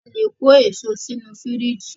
A lè kó èso sínu fìríjìì.